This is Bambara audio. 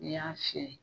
N'i y'a fiyɛ